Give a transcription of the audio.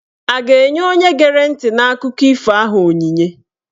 A ga-enye onye gere ntị n'akụkọ ifo ahụ onyinye?